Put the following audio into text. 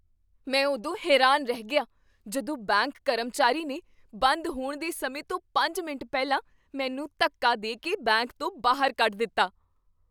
ਮੈਂ ਉਦੋਂ ਹੈਰਾਨ ਰਹਿ ਗਿਆ ਜਦੋਂ ਬੈਂਕ ਕਰਮਚਾਰੀ ਨੇ ਬੰਦ ਹੋਣ ਦੇ ਸਮੇਂ ਤੋਂ ਪੰਜ ਮਿੰਟ ਪਹਿਲਾਂ ਮੈਨੂੰ ਧੱਕਾ ਦੇ ਕੇ ਬੈਂਕ ਤੋਂ ਬਾਹਰ ਕੱਢ ਦਿੱਤਾ